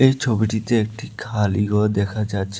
এই ছবিটিতে একটি খালিঘর দেখা যাচ্ছে।